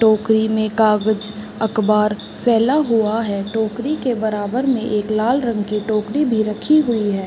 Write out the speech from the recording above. टोकरी में कागज अखबार फैला हुआ है। टोकरी के बराबर में एक लाल रंग के टोकरी भी रखी हुई है।